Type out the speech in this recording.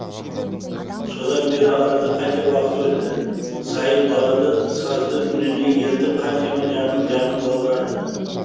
содан бері арада қанша уақыт өтті сайын далада сазды үніне елітіп қаншама жанның жанын баурады